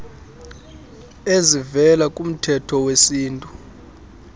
ezivela kumthetho wesintu